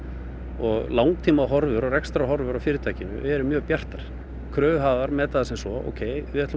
og langtímahorfur og rekstrarhorfur á fyrirtækinu eru mjög bjartar kröfuhafar meta það sem svo ókei við ætlum